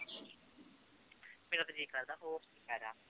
ਮੇਰਾ ਤਾਂ ਜੀਅ ਕਰਦਾ